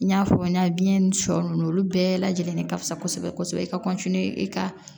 N y'a fɔ n ɲɛnɛ biɲɛ ni shɔ nunnu olu bɛɛ lajɛlen de ka fisa kosɛbɛ kosɛbɛ i ka i ka